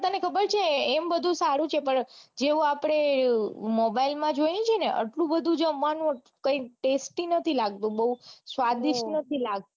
ખબર છે એમ બધું સારું છે પણ જેવું આપડે મોબાઈલ માં જોઈએ છે ને એટલું બધું જ મન tastey નથી બઉ લાગતું સ્વાદિષ્ટ નથી લાગતું